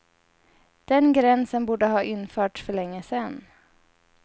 Den gränsen borde ha införts för länge sedan.